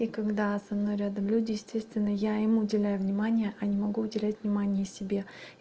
и когда со мной рядом люди естественно я ему уделяю внимания а не могу уделить внимание себе